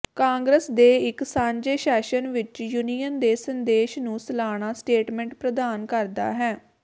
ਕਾਂਗਰਸ ਦੇ ਇੱਕ ਸਾਂਝੇ ਸੈਸ਼ਨ ਵਿੱਚ ਯੂਨੀਅਨ ਦੇ ਸੰਦੇਸ਼ ਨੂੰ ਸਲਾਨਾ ਸਟੇਟਮੈਂਟ ਪ੍ਰਦਾਨ ਕਰਦਾ ਹੈ